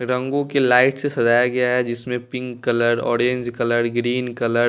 रंगों की लाइट से सजाया गया है जिसमें pink colour orange colour green colour --